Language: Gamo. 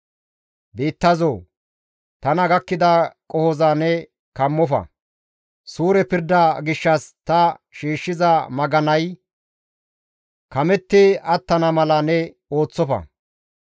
«Biittazoo! Tana gakkida qohoza ne kammofa! Suure pirda gishshas ta shiishshiza maganay kametti attana mala ne ooththofa!